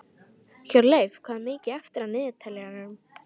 Hjörleif, hvað er mikið eftir af niðurteljaranum?